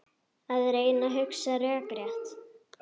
Að reyna að hugsa rökrétt